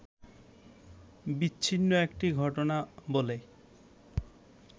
বিচ্ছিন্ন একটি ঘটনা বলে